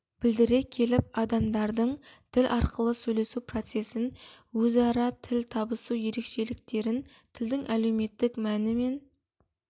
білдіре келіп адамдардың тіл арқылы сөйлесу процесін өзара тіл табысу ерекшеліктерін тілдің әлеуметтік мәні мен